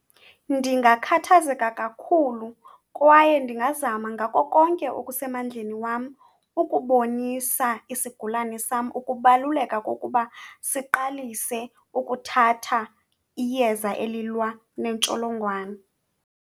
Ndingakhathazeka kakhulu kwaye ndingazama ngako konke okusemandleni wam ukubonisa isigulane sam ukubaluleka kokuba siqalise ukuthatha iyeza elilwa nentsholongwane.